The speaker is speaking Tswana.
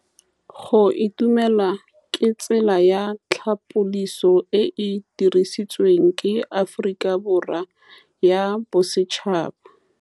Go itumela ke tsela ya tlhapolisô e e dirisitsweng ke Aforika Borwa ya Bosetšhaba.